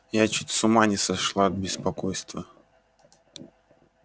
я чуть с ума не сошла от беспокойства